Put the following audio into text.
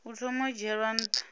u thoma u dzhielwa nha